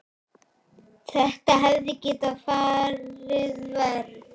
Þetta hefði getað farið verr.